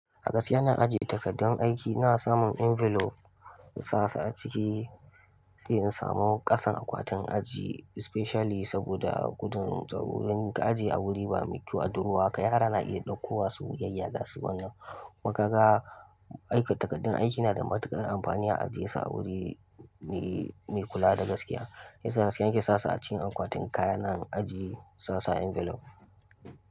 A gaskiya ina ajiye takardun aiki ina samun envelope insasu a ciki, sai in samo ƙasan akwati in ajiye, especially saboda gudun tsaro. Don ka ajiye a wuri ba mai kyau da ruwa, kai har yara na iya ɗaukowa su yayayya gashi wannan. Kuma kaga aiki takardun aiki na da matuƙar amfani, a ajiyesu a wuri mai kula da gaskiya. Shiyasa gaskiya nake sasu a cikin akwatin kayana ajiye in sasu a envelope.